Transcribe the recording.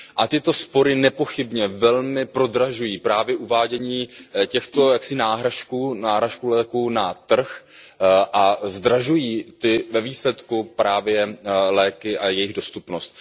Tyto spory nepochybně velmi prodražují právě uvádění těchto náhražek léků na trh a zdražují ve výsledku právě léky a jejich dostupnost.